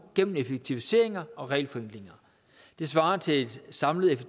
gennem effektiviseringer og regelforenklinger det svarer til et samlet